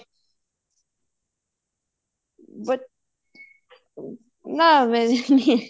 ਨਾ ਮੇਰੇ ਨਹੀਂ ਹੈ